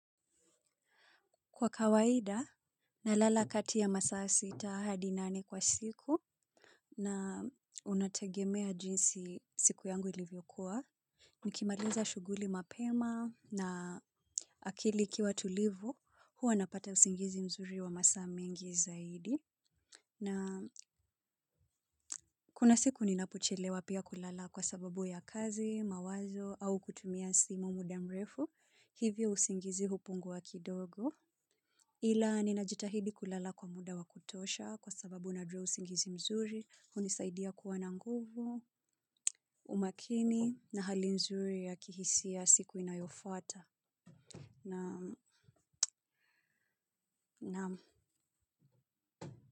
Kwa kawaida, nalala kati ya masaa sita hadi nane kwa siku na unategemea jinsi siku yangu ilivyokua. Nikimaliza shuguli mapema na akili ikiwa tulivu, huwa napata usingizi mzuri wa masa mengi zaidi. Na kuna siku ninapochelewa pia kulala kwa sababu ya kazi, mawazo au kutumia simu muda mrefu, hivyo usingizi hupunguwa kidogo. Ila, ninajitahidi kulala kwa muda wa kutosha kwa sababu najua usingizi mzuri, unisaidia kuwa na nguvu, umakini na hali mzuri ya kihisia siku inayofuata. Na, na.